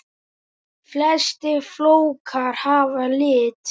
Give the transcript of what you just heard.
Flestir flókar hafa lit.